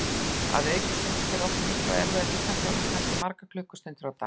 Að auki stunda þeir oft mikla og erfiða líkamsþjálfun, kannski margar klukkustundir á dag.